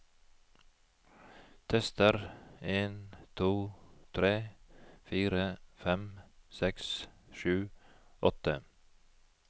Tester en to tre fire fem seks sju åtte